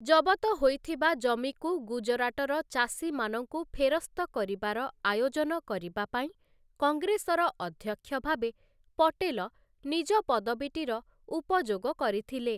ଜବତ ହୋଇଥିବା ଜମିକୁ ଗୁଜରାଟର ଚାଷୀମାନଙ୍କୁ ଫେରସ୍ତ କରିବାର ଆୟୋଜନ କରିବା ପାଇଁ କଂଗ୍ରେସର ଅଧ୍ୟକ୍ଷ ଭାବେ ପଟେଲ ନିଜ ପଦବୀଟିର ଉପଯୋଗ କରିଥିଲେ ।